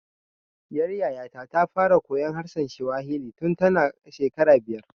Ɗiyar Yaya ta ta fara koyan harshen Swahili tun ta na shekara biyar